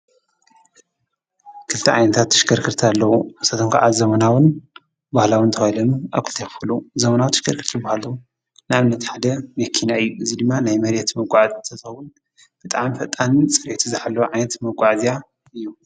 ክልተ ዓይነታት ተሽከርከርቲ ኣለዉ፡፡ ንሳቶም ከዓ ባህላዊን ዘመናውን ባህላውን ተባሂሎም ኣብ ክልተ ይኽፈሉ፡፡ ዘመናዊ ተሽከርከርቲ ዝበሃሉ ንኣብነት ሓደ መኪና እዩ፡፡ እዚ ድማ ናይ መሬት መጋዓዝያ እንትኸውን ብጣዕሚ ፈጣንን ፅሬቱ ዝሓለወን ዓይነት መጋዓዝያ እዩ፡፡